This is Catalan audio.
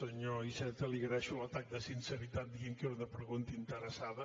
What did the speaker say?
senyor iceta li agraeixo l’atac de sinceritat dient que era una pregunta interessada